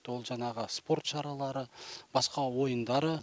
ол жаңағы спорт шаралары басқа ойындары